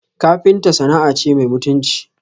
Kafinta sana'a ce mai mutunci